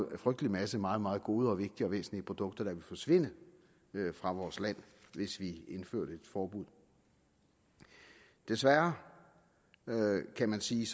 en frygtelig masse meget meget gode og vigtige og væsentlige produkter der vil forsvinde fra vores land hvis vi indførte et forbud desværre kan man sige